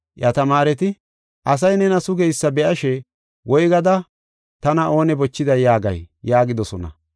Iya tamaareti, “Asay nena sugeysa be7ashe, ‘Woygada tana oone bochiday yaagay?’ ” yaagidosona.